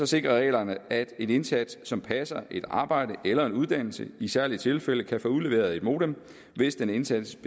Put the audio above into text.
sikrer reglerne at en indsat som passer et arbejde eller en uddannelse i særlige tilfælde kan få udleveret et modem hvis den indsattes